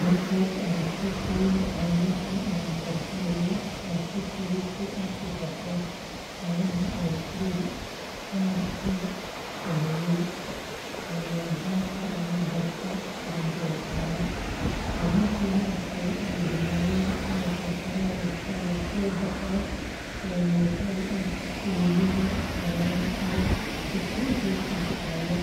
Markaad aragto sawirka caanaha karkaraya, waxaad si fudud u arki kartaa caanaha oo kuleyl aad u sarreeya gaaska ama dabka korontada saaran. Caanaha marka ay bilaabaan inay karkaraan, waxaa ka soo baxa muuqaal ah uumiga caanaha oo si xoog leh u kacaya,